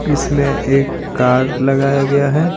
इसमें एक कार लगाया गया है।